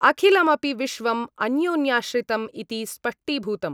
अखिलमपि विश्वं अन्योन्याश्रितम् इति स्पष्टीभूतम्।